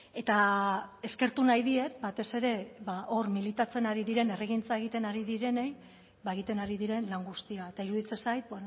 eta eskertu nahi diet batez ere hor militatzen ari diren herrigintza egiten ari direnei ba egiten ari diren lan guztia eta iruditzen zait